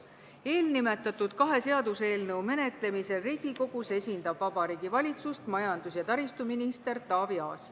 Eelnimetatud kahe seaduseelnõu menetlemisel Riigikogus esindab Vabariigi Valitsust majandus- ja taristuminister Taavi Aas.